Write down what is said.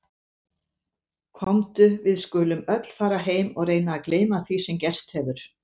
Komdu, við skulum öll fara heim og reyna að gleyma því sem gerst hefur.